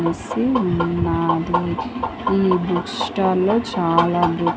ఉన్నాది ఈ book stall లో చాలా బుక్ --